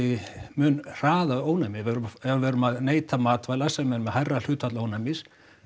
mun hraða ónæmi ef við erum að neyta matvæla sem eru með hærra hlutfall ónæmis